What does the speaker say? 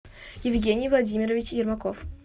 евгений владимирович ермаков